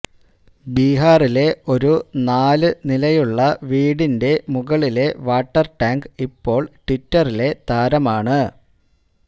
ബിഹാറിലെ ഒരു നാല് നിലയിലുള്ള വീടിന്റെ മുകളിലെ വാട്ടര് ടാങ്ക് ഇപ്പോള് ട്വിറ്ററിലെ താരമാണ്